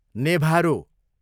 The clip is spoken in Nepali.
नेभारो